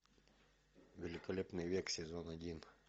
великолепный век сезон один